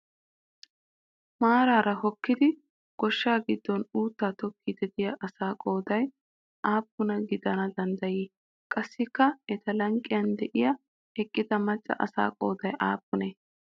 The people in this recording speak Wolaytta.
Maaraara hookkidi goshsha giddon uuttaa tokkiiddi diya asaa qooday appuna gidana danddayii? Qassikka eta lanqqen diya eqqida macca asaa qooday aappunee?